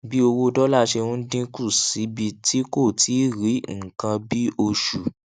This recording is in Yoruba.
bí owó dólà ṣe ń dín kù síbi tí kò tíì rí ní nǹkan bí oṣù